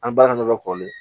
An bɛ baara ɲɛdɔn kɔlen